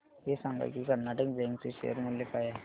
हे सांगा की कर्नाटक बँक चे शेअर मूल्य काय आहे